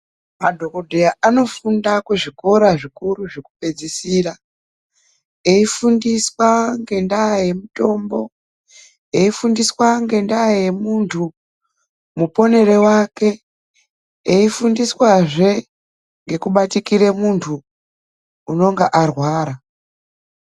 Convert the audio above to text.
Madhokodheya anofunda kuzvikora zvikuru zvekupedzisira. Eifundiswa ngendaa yemitombo. Eifundiswa ngendaa yemuntu muponere wake. Eifundiswazve ngekubatikire muntu unonga arwara.